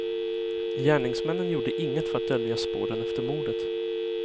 Gärningsmännen gjorde inget för att dölja spåren efter mordet.